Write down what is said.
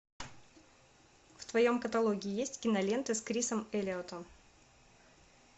в твоем каталоге есть киноленты с крисом эллиотом